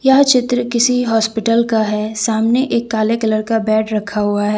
यह चित्र किसी हॉस्पिटल का है सामने एक काले कलर का बेड रखा हुआ है।